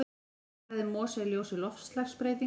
Vistfræði mosa í ljósi loftslagsbreytinga.